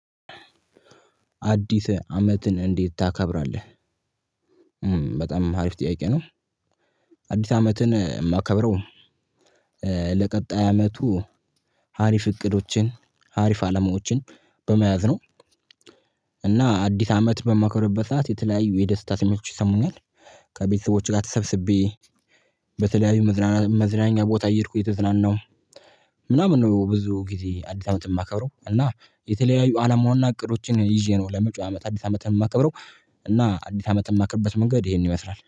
አዲስ አመትን እንዴት ታከብራለህ? በጣም ሀሪፍ ጥያቄ ነው። አዲስ አመትን የማከብረው። ለቀጣይ አመቱ ሀሪፍ እቅዶችን አሪፍ አላማዎችን በመያዝ ነው። እና አዲስ አመት በማከብርበት ሰዓት የተለያዩ የደስታ ስሜቶች ይሰሙኛል። ከቤተሰቦችህ ጋር ተሰብስቤ በተለያዩ መዝናኛ ቦታ እየሄድኩ እየተዝናናው ምናምን ነው። ብዙ ጊዜ አዲስ አመት የማከብረው እና የተለያዩ አላማውና እቅዶችን ይዤ ነው ለመጫወው አመት አዲስ አመትን የማከብረው። እና አዲስ አመት የማከርበት መንገድ ይሄንን ይመስላል